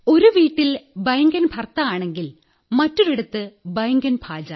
ഒരു വീട്ടിൽ ബൈംഗൻ ഭർത്താ ആണെങ്കിൽ മറ്റൊരിടത്ത് ബൈംഗൻ ഭാജാ